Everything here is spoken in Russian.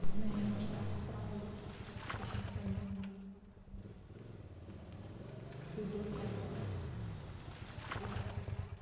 у меня немножко отрава есть точнее ссанина ещё дождь пошёл ой